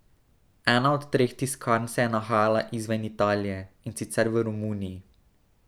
Ena od treh tiskarn se je nahajala izven Italije, in sicer v Romuniji.